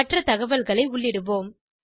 மற்றத் தகவல்களை உள்ளிடுவோம்